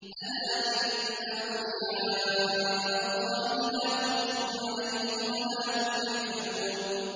أَلَا إِنَّ أَوْلِيَاءَ اللَّهِ لَا خَوْفٌ عَلَيْهِمْ وَلَا هُمْ يَحْزَنُونَ